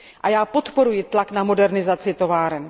A já podporuji tlak na modernizaci továren.